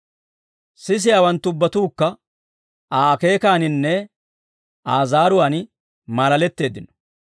Sisiyaawanttu ubbatuukka, Aa akeekaaninne Aa zaaruwaan maalaletteeddino.